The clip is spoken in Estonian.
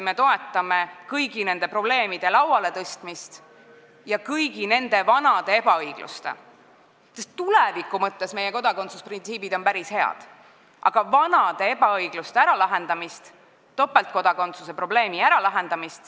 Me toetame kõigi nende probleemide laualetõstmist ja kõigi vanade ebaõigluste äralahendamist, sh topeltkodakondsuse probleemi äralahendamist, sest tuleviku mõttes on meie kodakondsusprintsiibid päris head.